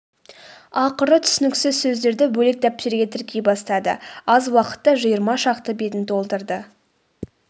ақыры түсініксіз сөздерді бөлек дәптерге тіркей бастады аз уақытта жиырма шақты бетін толтырды